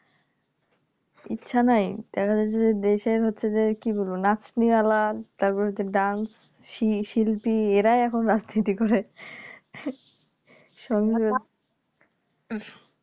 ইচ্ছা নাই দেখা যাচ্ছে যে দেশের হচ্ছে যে কি বলবো . Dance শি শিল্পী এরাই এখন রাজনীতি করে